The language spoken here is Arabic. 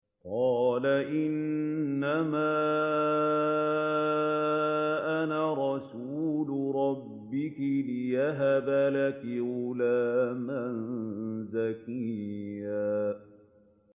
قَالَ إِنَّمَا أَنَا رَسُولُ رَبِّكِ لِأَهَبَ لَكِ غُلَامًا زَكِيًّا